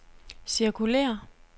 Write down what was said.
cirkulér